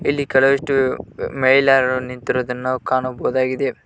ಇಲ್ಲಿ ಕೆಲವಷ್ಟು ಮಹಿಳಾಳುಗಳನ್ನು ನಿಂತಿರುವುದನ್ನು ನಾವು ಕಾಣಬಹುದಾಗಿದೆ.